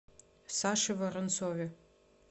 саше воронцове